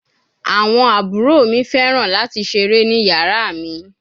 Awọn abhor mi fẹran lati sere ni yara mi